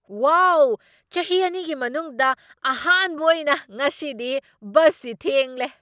ꯋꯥꯎ, ꯆꯍꯤ ꯑꯅꯤꯒꯤ ꯃꯅꯨꯡꯗ ꯑꯍꯥꯟꯕ ꯑꯣꯏꯅ ꯉꯁꯤꯗꯤ ꯕꯁꯁꯤ ꯊꯦꯡꯂꯦ꯫